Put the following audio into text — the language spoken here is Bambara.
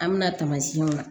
An mɛna taamasiyɛnw la